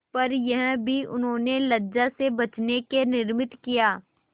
पर यह भी उन्होंने लज्जा से बचने के निमित्त किया